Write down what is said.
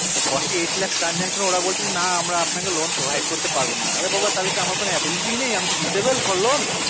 forty eight লাখর transaction ওরা বলছে না আমরা আপনাকে loan provate করতে পারবো না অরে বাবা তার মানে আমার কোনো abelity নাই disible for loan